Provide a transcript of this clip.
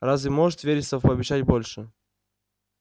разве может вересов пообещать больше